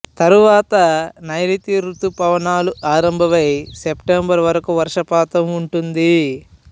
తరువాత నైరుతి ఋతుపవనాలు ఆరంభమై సెప్టెంబరు వరకు వర్షపాతం ఉంటుంది